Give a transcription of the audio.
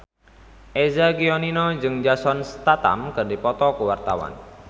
Eza Gionino jeung Jason Statham keur dipoto ku wartawan